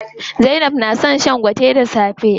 Zainab na son shan gwate da safe.